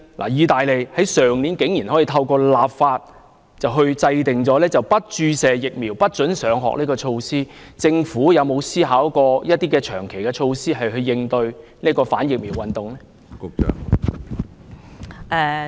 意大利去年竟可透過立法制訂不注射疫苗不准上學的措施，政府有否思考一些長期的措施來應對反疫苗運動？